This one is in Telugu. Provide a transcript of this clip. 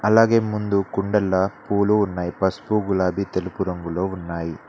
అలాగే ముందు కుండల్ల పూలు ఉన్నాయి పసుపు గులాబి తెలుపు రంగులో ఉన్నాయి.